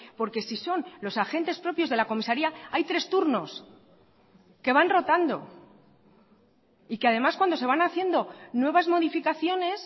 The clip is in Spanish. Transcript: porque si son los agentes propios de la comisaría hay tres turnos que van rotando y que además cuando se van haciendo nuevas modificaciones